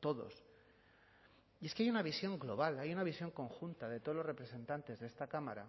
todos y es que hay una visión global hay una visión conjunta de todos los representantes de esta cámara